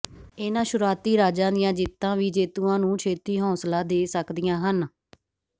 ਇਹਨਾਂ ਸ਼ੁਰੂਆਤੀ ਰਾਜਾਂ ਦੀਆਂ ਜਿੱਤਾਂ ਵੀ ਜੇਤੂਆਂ ਨੂੰ ਛੇਤੀ ਹੌਸਲਾ ਦੇ ਸਕਦੀਆਂ ਹਨ